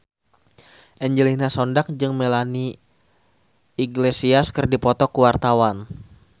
Angelina Sondakh jeung Melanie Iglesias keur dipoto ku wartawan